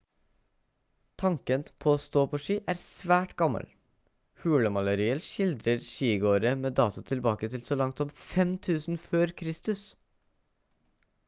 tanken på å stå på ski er svært gammel hulemalerier skildrer skigåere med dato tilbake til så langt som 5000 f.kr